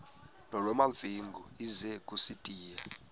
nolwamamfengu ize kusitiya